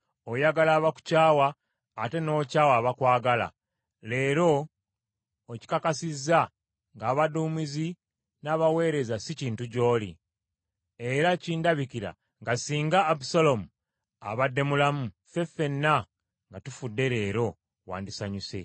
Oyagala abakukyawa ate n’okyawa abakwagala. Leero okikakasizza ng’abaduumizi n’abaweereza si kintu gy’oli. Era kindabikira nga singa Abusaalomu abadde mulamu, ffe ffenna nga tufudde leero, wandisanyuse.